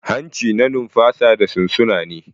Hanci na numfasa da sunsuna ne.